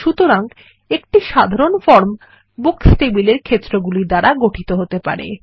সুতরাং একটি সাধারণ ফর্ম বুকস টেবিলের ক্ষেত্রগুলি দ্বারা গঠিত হতে পারে